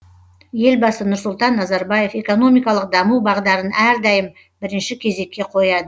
елбасы нұрсұлтан назарбаев экономикалық даму бағдарын әрдайым бірінші кезекке қояды